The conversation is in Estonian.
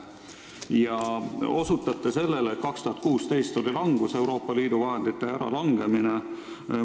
Te osutate selle, et aastal 2016 oli langus, Euroopa Liidu vahendite äralangemine.